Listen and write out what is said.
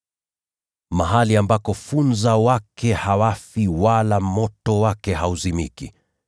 Mahali ambako funza wake hawafi wala moto wake hauzimiki.]